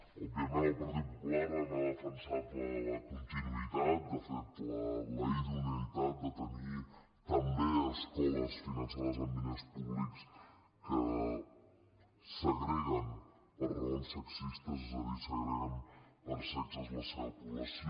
òbviament el partit popular ha defensat la continuïtat de fet la idoneïtat de tenir també escoles finançades amb diners públics que segreguen per raons sexistes és a dir segreguen per sexes la seva població